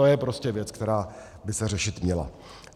To je prostě věc, která by se řešit měla.